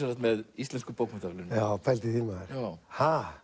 með Íslensku bókmenntaverðlaunin já pældu í því maður ha